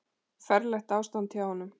Ferlegt ástand hjá honum.